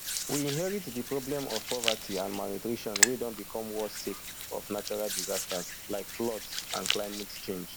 we inherit di problem of poverty and malnutrition wey don become worse sake of natural disasters like floods and climate change